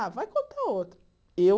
Ah, vai contar outra. Eu